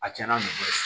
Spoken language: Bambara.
A tiɲɛna mɔgɔ cɛ